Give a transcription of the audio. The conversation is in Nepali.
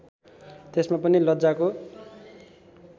त्यसमा पनि लज्जाको